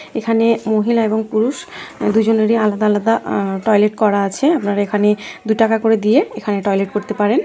এখানে মহিলা এবং পুরুষ দুজনেরই আলাদা আলাদা আ টয়লেট করা আছে। আপনার এখানে দুই টাকা করে দিয়ে এখানে টয়লেট করতে পারেন।